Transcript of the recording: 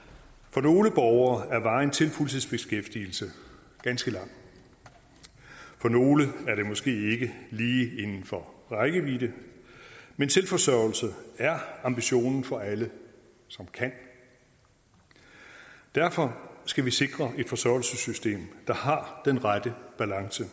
for nogle borgere er vejen til fuldtidsbeskæftigelse ganske lang for nogle er det måske ikke lige inden for rækkevidde men selvforsørgelse er ambitionen for alle som kan derfor skal vi sikre et forsørgelsessystem der har den rette balance